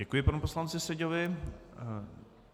Děkuji panu poslanci Seďovi.